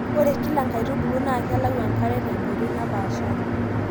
ore kila enkaitubului naa kelau enkare te nkoitoi napaashari